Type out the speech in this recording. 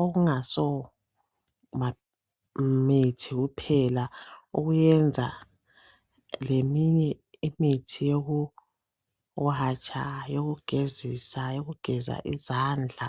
okungaso mithi kuphela luyenza leminye imithi yoku watsha yokugezisa yokugeza izandla